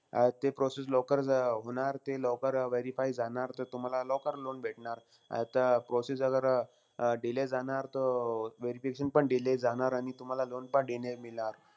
अं ते process लवकर जर अं होणार, ते लवकर verify जाणार त तुम्हाला लवकर loan भेटणार. अं त process जर अं delay जाणार तो, verification पण delay जाणार. आणि तुम्हाला loan पण delay मिळणार.